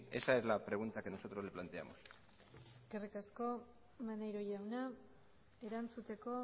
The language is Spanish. esa es la pregunta que nosotros le planteamos eskerrik asko maneiro jauna erantzuteko